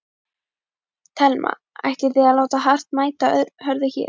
Telma: Ætlið þið að láta hart mæta hörðu hér?